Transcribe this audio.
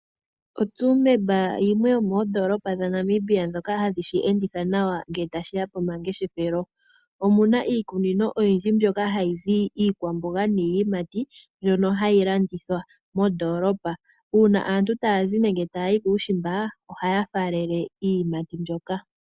OTsumeb oyo yimwe yomoondoolopa dhaNamibia ndhoka hadhi shi enditha nawa ngele tashi ya pomangeshefelo. Mo omu na iikunino oyindji mbyoka hayi zi iikwamboga niiyimati, mbyono hayi landithwa mondoolopa. Uuna aantu taya yi nenge taya zi kuushimba, ohaya faalele iiyimati mbyoka.